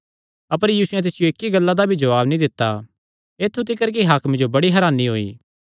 अपर यीशुयैं तिसियो इक्की गल्ला दा भी जवाब नीं दित्ता ऐत्थु तिकर कि हाकमे जो बड़ी हरानी होई